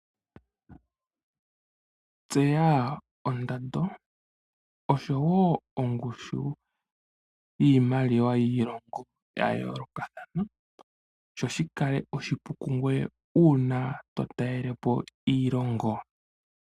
Tseya ondando oshowo ongushu yiimaliwa yiilongo ya yoolokathana, sho shi kale oshipu kungweye uuna to talele po iilongo.